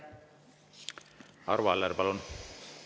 Arvo Aller, palun!